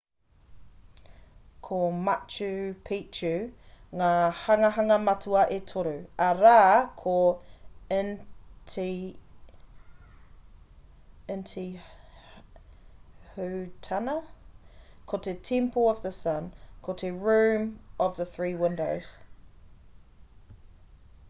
ko machu picchu ngā hanganga matua e toru arā ko intihuatana ko te temple of the sun ko te room of the three windows